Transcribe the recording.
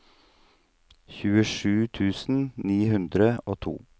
tjuesju tusen ni hundre og to